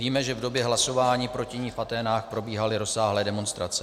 Víme, že v době hlasování proti ní v Aténách probíhaly rozsáhlé demonstrace.